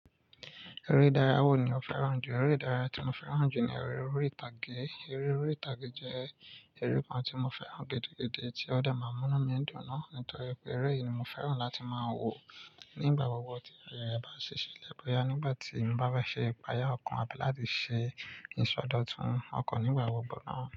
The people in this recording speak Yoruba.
Eré ìdárayá wo ni o fẹ́ràn jù? Eré ìdárayá tí mo fẹ́ràn jù ni eré orí ìtàgé. Eré orí ìtàgé jẹ́ eré kan tí mo fẹ́ràn gidi, gidi tí ó de mààmú inu mi dùn naa nítorí pé eré yìí ni mo fẹ́ràn láti máa wò nígbà gbogbo tí ayẹyẹ bá ṣíṣe lẹ́bùn ya nígbà tí n bá bẹ ṣe ìpàjà ọkọ̀ àbí láti ṣe ìsọdọ̀tun ọkọ̀ nígbà gbogbo náà.